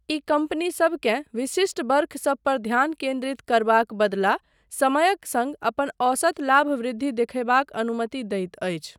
ई कम्पनीसबकेँ विशिष्ट वर्षसब पर ध्यान केन्द्रित करबाक बदला समयक सङ्ग अपन औसत लाभ वृद्धि देखयबाक अनुमति दैत अछि।